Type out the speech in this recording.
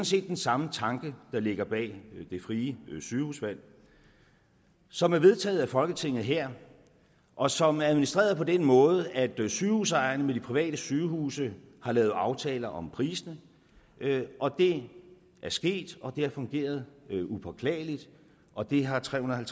set den samme tanke der ligger bag det frie sygehusvalg som er vedtaget af folketinget her og som er administreret på den måde at sygehusejerne med de private sygehuse har lavet aftaler om priserne det er sket og det har fungeret upåklageligt og det har trehundrede